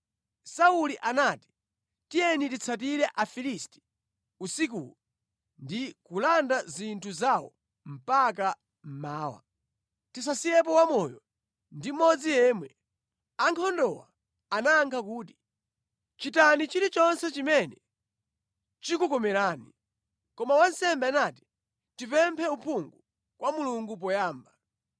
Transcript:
Sauli anati, “Tiyeni titsatire Afilisti usikuwu ndi kulanda zinthu zawo mpaka mmawa. Tisasiyepo wamoyo ndi mmodzi yemwe.” Ankhondowo anayankha kuti, “Chitani chilichonse chimene chikukomerani.” Koma wansembe anati, “Tipemphe uphungu kwa Mulungu poyamba.”